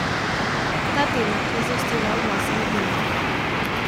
Ta tema je zaostrila odnose med njimi.